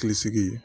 Hakili sigi